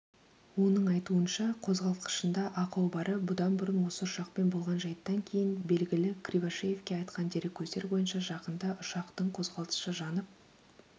оның айтуынша қозғалтқышында ақау бары бұдан бұрын осы ұшақпен болған жайттан кейін белгілі кривошеевке айтқан дереккөздер бойынша жақында ұшақтың қозғалтқышы жанып